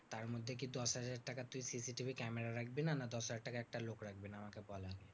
তারমধ্যে কি দশহাজার টাকার তুই CCTV camera রাখবি না? না দশহাজার টাকায় একটা লোক রাখবি না? আমাকে বল এবার।